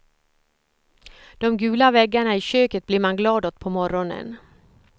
De gula väggarna i köket blir man glad åt på morgonen.